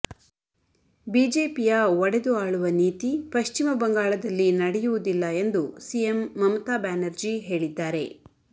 ಬಿಜೆಪಿಯ ಒಡೆದು ಆಳುವ ನೀತಿ ಪಶ್ಚಿಮ ಬಂಗಾಳದಲ್ಲಿ ನಡೆಯುವುದಿಲ್ಲ ಎಂದು ಸಿಎಂ ಮಮತಾ ಬ್ಯಾನರ್ಜಿ ಹೇಳಿದ್ದಾರೆ